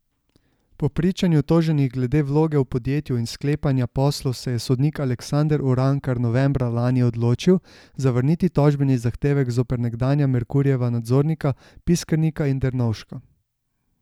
Po pričanju toženih glede vloge v podjetju in sklepanja poslov se je sodnik Aleksander Urankar novembra lani odločil zavrniti tožbeni zahtevek zoper nekdanja Merkurjeva nadzornika Piskernika in Dernovška.